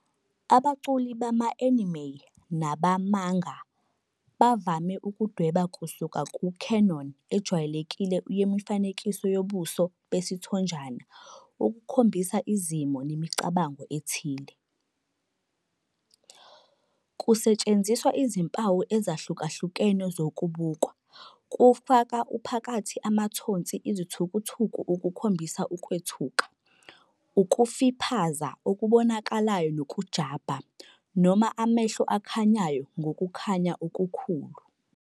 Abaculi bama-anime nabama-manga bavame ukudweba kusuka ku-canon ejwayelekile yemifanekiso yobuso besithonjana ukukhombisa izimo nemicabango ethile. Kusetshenziswa izimpawu ezahlukahlukene zokubukwa, kufaka phakathi amathonsi izithukuthuku ukukhombisa ukwethuka, ukufiphaza okubonakalayo kokujabha, noma amehlo akhanyayo ngokukhanya okukhulu.